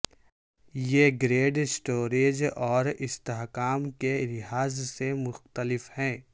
یہ grade storage اور استحکام کے لحاظ سے مختلف ہیں